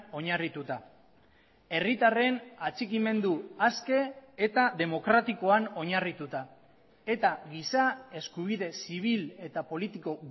oinarrituta herritarren atxikimendu aske eta demokratikoan oinarrituta eta giza eskubide zibil eta politiko